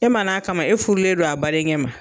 E ma n'a kama e furulen don a badenkɛ ma.